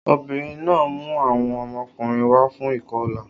Obìnrin náà mú àwọn ọmọkùnrin wá fún ìkọlà